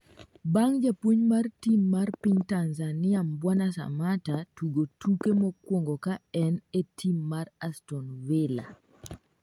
bang' japuonj mar tim mar piny Tanzania Mbwana Samatta tugo tuke mokwongo ka en e tim mar aston villa